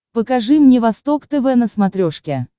покажи мне восток тв на смотрешке